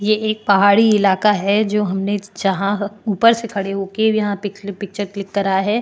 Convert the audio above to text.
ये एक पहाड़ी इलाका है जो हमने जहाँ ऊपर से खड़े होके यहाँ पे क्लिप पिक्चर क्लिक करा है।